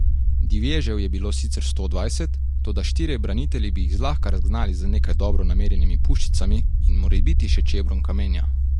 Divježev je bilo sicer sto dvajset, toda štirje branitelji bi jih zlahka razgnali z nekaj dobro namerjenimi puščicami in morebiti še čebrom kamenja.